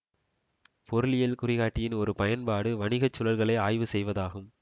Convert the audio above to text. பொருளியல் குறிகாட்டியின் ஒரு பயன்பாடு வணிக சுழல்களை ஆய்வு செய்வதாகும்